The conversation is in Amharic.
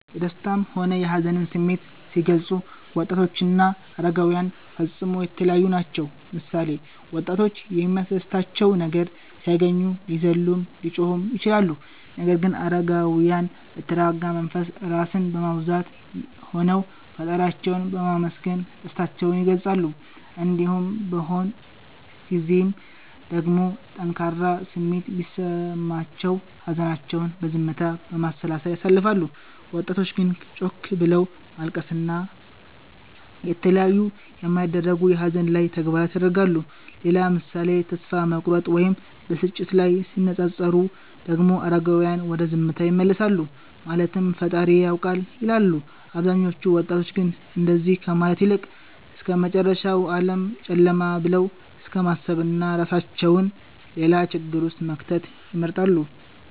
የደሰታም ሆነ የሀዘንን ስሜት ሲገልፁ ወጣቶችና አረጋዉያን ፈፅሞ የተለያዪ ናቸዉ ምሳሌ፦ ወጣቶች የሚያስደስታቸው ነገር ሲያገኙ ሊዘሉም ሊጮሁም ይችላሉ ነገር ግን አረጋዉያን በተረጋጋ መንፈስ (ራስን በማዉዛት) ሆነዉ ፈጣሪያቸዉን በማመስገን ደስታቸዉን ይገልፃሉ። እንዲሁም በሆን ጊዜም ደግሞ ጠንካራ ስሜት ቢሰማቸውም ሀዘናቸዉን በዝምታ፣ በማሰላሰል ያሳልፋሉ ወጣቶች ግን ጮክ ብሎት ማልቀስን እና የተለያዩ የማይደረጉ የሀዘን ላይ ተግባራት ያደርጋሉ። ሌላ ምሳሌ ተስፋ መቁረጥ ወይም ብስጭት ላይ ሲነፃፀሩ ደግሞ አረጋዉያን ወደ ዝምታ ይመለሳሉ ማለትም ፈጣሪዬ ያዉቃል ይላሉ አብዛኞቹ ወጣቶች ግን እንደዚ ከማለት ይልቅ እስከመጨረሻዉ ዓለም ጨለማ ብለዉ እስከማሰብና እራሳቸዉን ሌላ ችግር ዉስጥ መክተትን ይመርጣሉ